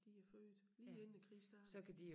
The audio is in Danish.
De er født lige inden æ krig startede